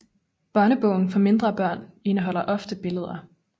Børnebogen for mindre børn indeholder ofte billeder